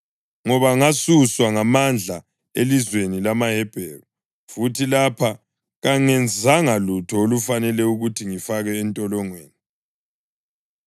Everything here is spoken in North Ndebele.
Ngoba ngasuswa ngamandla elizweni lamaHebheru, futhi lapha kangenzanga lutho olufanele ukuthi ngifakwe entolongweni.”